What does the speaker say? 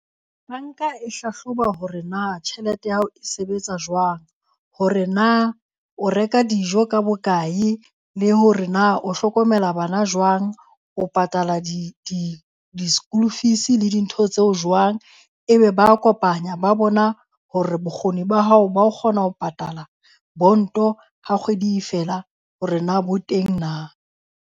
Banka e hlahloba hore na tjhelete ya hao e sebetsa jwang. Hore na o reka dijo ka bokae le hore na o hlokomela bana jwang. O patala di-school fees le dintho tseo jwang? Ebe ba a kopanya ba bona hore bokgoni ba hao ba ho kgona ho patala bond-o ha kgwedi e fela hore na bo teng na.